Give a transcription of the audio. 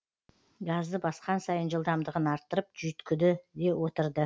газды басқан сайын жылдамдығын арттырып жүйіткіді де отырды